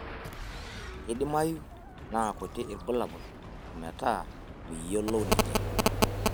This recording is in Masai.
Keidimayu naa kuti ilbulabul ometaa miyiolou ninye.